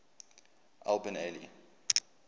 al bin ali